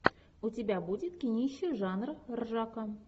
у тебя будет кинище жанр ржака